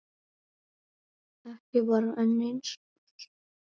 Ekki bara enn eins árs?